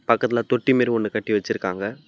பக்கத்துல தொட்டி மாறி ஒண்ணு கட்டி வச்சிருக்காங்க.